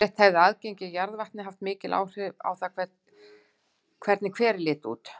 Yfirleitt hefði aðgengi að jarðvatni mikil áhrif á það hvernig hverir litu út.